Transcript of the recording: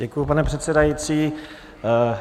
Děkuji, pane předsedající.